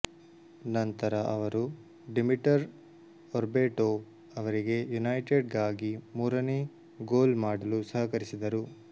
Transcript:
ನಂತರ ಅವರು Dimitar Berbatov ಅವರಿಗೆ ಯುನೈಟೆಡ್ ಗಾಗಿ ಮೂರನೇ ಗೋಲ್ ಮಾಡಲು ಸಹಕರಿಸಿದರು